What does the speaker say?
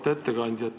Auväärt ettekandja!